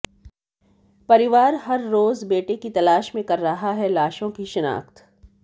परिवार हर रोज बेटे की तलाश में कर रहा है लाशों की शिनाख्त